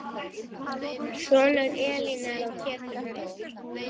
Sonur Elínar er Pétur Þór.